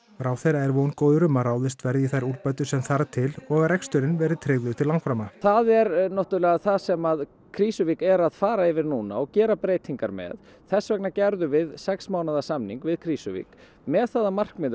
ráðherra er vongóður um að ráðist verði í þær úrbætur sem þarf til og að reksturinn verði tryggður til langframa það er náttúrlega það sem Krýsuvík er að fara yfir núna og gera breytingar með þess vegna gerðum við sex mánaða samning við Krýsuvík með það að markmiði